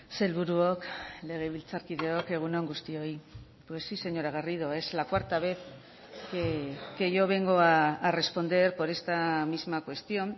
sailburuok legebiltzarkideok egunon guztioi pues sí señora garrido es la cuarta vez que yo vengo a responder por esta misma cuestión